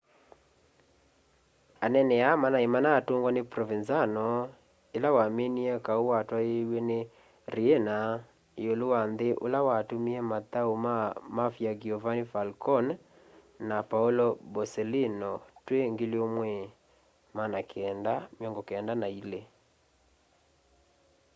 anene aa maimanatungwa ni provenzano ila waminie kau watwaiiw'e ni riina iulu wa nthi ula watumie mathau maa ma mafia giovanni falcone na paolo borsellino twi 1992